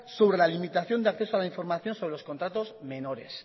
sobre la limitación de acceso a la información sobre los contratos menores